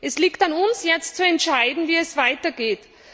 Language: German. Es liegt an uns, jetzt zu entscheiden, wie es weitergeht.